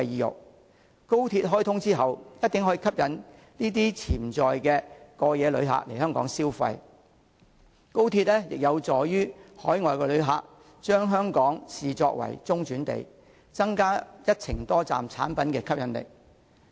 日後當高鐵開通後，一定可以吸引這群潛在過夜旅客來港消費，高鐵亦有助海外旅客將香港視作中轉地，增加一程多站產品的吸引力。